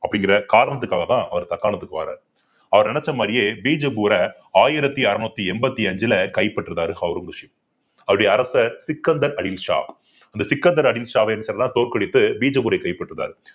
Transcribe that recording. அப்படிங்கிற காரணத்துக்காகதான் அவர் தக்காணத்துக்கு வர்றாரு அவர் நினைச்ச மாதிரியே பீஜப்பூர ஆயிரத்தி அறுநூத்தி எண்பத்தி அஞ்சுல கைப்பற்றுறாரு ஔரங்கசீப் அவருடைய அரசர் அந்த தோற்கடித்து பீஜப்பூரை கைப்பற்றினார்